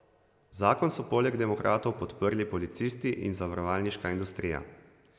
Zakon so poleg demokratov podprli policisti in zavarovalniška industrija.